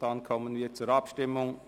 – Dann kommen wir zur Abstimmung.